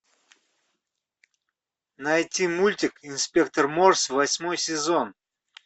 найти мультик инспектор морс восьмой сезон